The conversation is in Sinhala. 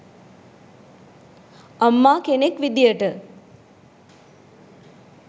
අම්මා කෙනෙක් විදියට